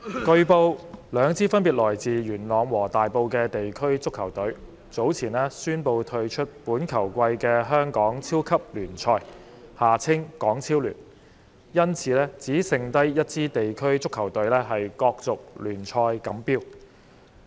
代理主席，據報，兩支分別來自元朗和大埔的地區足球隊，早前宣布退出本球季的香港超級聯賽，因此只剩下一支地區足球隊角逐聯賽錦標。